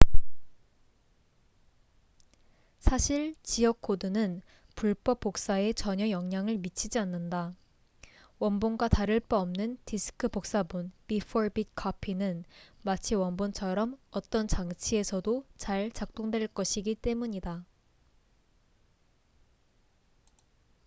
사실 지역 코드는 불법 복사에 전혀 영향을 미치지 않는다. 원본과 다를 바 없는 디스크 복사본bit-for-bit copy은 마치 원본처럼 어떤 장치에서도 잘 작동될 것이기 때문이다